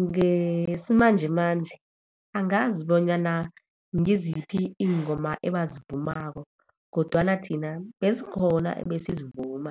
Ngesimanjemanje, angazi bonyana ngiziphi iingoma ebazivumako, kodwana thina bezikhona ebesizivuma.